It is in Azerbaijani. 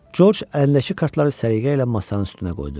Corc əlindəki kartları səliqə ilə masanın üstünə qoydu.